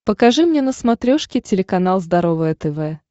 покажи мне на смотрешке телеканал здоровое тв